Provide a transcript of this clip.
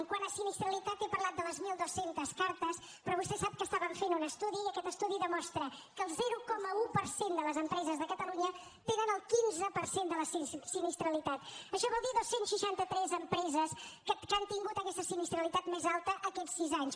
quant a sinistralitat he parlat de les mil dos cents cartes però vostè sap que estàvem fent un estudi i aquest estudi demostra que el zero coma un per cent de les empreses de catalunya tenen el quinze per cent de la sinistralitat això vol dir dos cents i seixanta tres empreses que han tingut aquesta sinistralitat més alta aquests sis anys